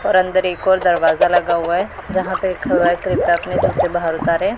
और अंदर एक और दरवाजा लगा हुआ है जहां पे लिखा हुआ है कृपया अपने जूते बाहर उतारे।